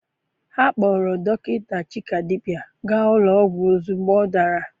Ha kpụrụ dọkịta Chikadibia gaa ụlọ ọgwụ ozugbo ọ dara.